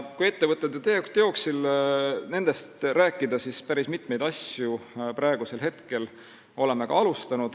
Kui rääkida sellest, mis on ette võetud ja teoksil, siis võib öelda, et oleme alustanud päris mitmeid asju.